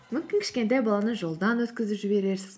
мүмкін кішкентай баланы жолдан өткізіп жіберерсіз